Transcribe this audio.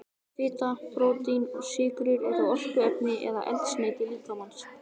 Fita, prótín og sykrur eru orkuefni eða eldsneyti líkamans.